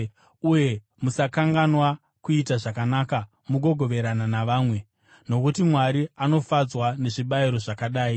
Uye musakanganwa kuita zvakanaka nokugoverana navamwe, nokuti Mwari anofadzwa nezvibayiro zvakadai.